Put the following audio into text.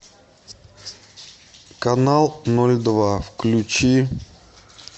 канал ноль два включи